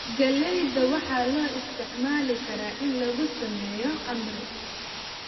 Galleyda waxaa loo isticmaali karaa in lagu sameeyo khamri.